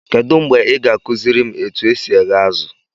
Kedụ mgbe ị ga-akụziri m etu e si eghe azụ?